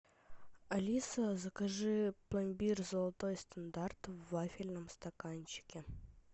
алиса закажи пломбир золотой стандарт в вафельном стаканчике